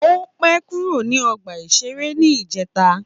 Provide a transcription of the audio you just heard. Ó pẹ́ kúrò ní ọgbà-ìṣeré ní ìjẹta